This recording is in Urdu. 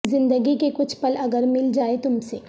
زندگی کے کچھ پل اگر مل جائیں تم سے